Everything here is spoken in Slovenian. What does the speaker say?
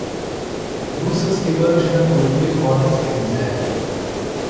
Bruseljski vrh že napoveduje konec krize.